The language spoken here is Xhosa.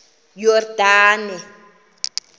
yordane